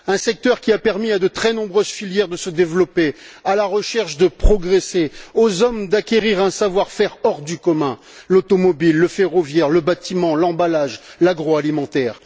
Un secteur qui a permis à de très nombreuses filières de se développer, à la recherche de progresser, aux hommes d'acquérir un savoir faire hors du commun l'automobile, le ferroviaire, le bâtiment, l'emballage, l'agroalimentaire.